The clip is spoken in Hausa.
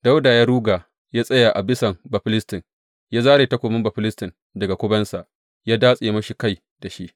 Dawuda ya ruga ya tsaya a bisan Bafilistin, ya zare takobin Bafilistin daga kubensa, ya datse masa kai da shi.